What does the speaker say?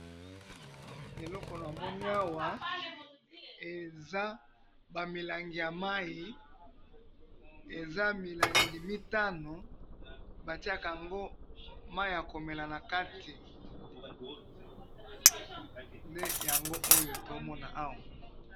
Eloko namoni awa eza bamilangi ya mayi, eza milangi mitano, batiyakaango mayi yakomela nakati, nde yango oyo toomona awa